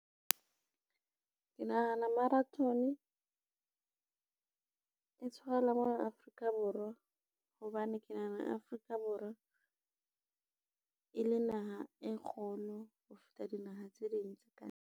Ke nahana marathon, e tshwarelwa mona Afrika Borwa hobane ke nahana Afrika Borwa, e le naha e kgolo ho feta dinaha tse ding tse ka ntle.